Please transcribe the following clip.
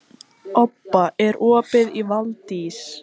Obba, er opið í Valdís?